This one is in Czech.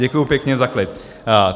Děkuji pěkně za klid.